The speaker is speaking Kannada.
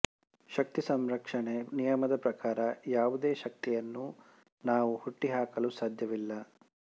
ಶಕ್ತಿ ಸಂರಕ್ಷಣೆ ನಿಯಮದ ಪ್ರಕಾರ ಯಾವುದೇ ಶಕ್ತಿಯನ್ನು ನಾವು ಹುಟ್ಟಿ ಹಾಕಲು ಸಾದ್ಯವಿಲ್ಲ